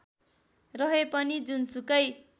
रहे पनि जुनसुकै